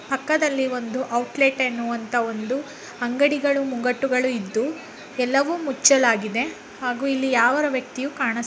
ಈ ಚಿತ್ರವು ಒಂದು ಮಸೀದಿಯ ಚಿತ್ರಣವಾಗಿದ್ದು ಈ ಮಸೀದಿ ಗೇಟನ್ನು ಹಾಕಲಾಗಿದೆ ಹಾಗೂ ಈ ಮಸೀದಿಯ ಮೇಲೆ ಸ್ಪೀಕರ್ ಗಳನ್ನು ಅಳವಡಿಸಲಾಗಿದೆ ಪಕ್ಕದಲ್ಲಿ ಒಂದು ಔಟ್ಲೆಟ್ ಅನ್ನುವಂತ ಅಂಗಡಿ ಇದ್ದು.